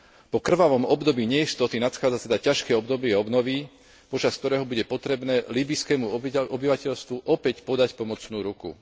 Po krvavom období neistoty nadchádza teda ťažké obdobie obnovy, počas ktorého bude potrebné líbyjskému obyvateľstvu opäť podať pomocnú ruku.